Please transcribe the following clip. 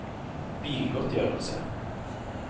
bilgodtgjørelse